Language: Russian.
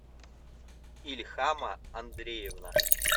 ильхама андреевна